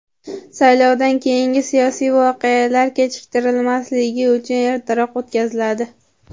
saylovdan keyingi siyosiy voqealar kechiktirilmasligi uchun ertaroq o‘tkaziladi.